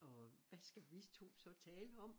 Og hvad skal vi to så tale om?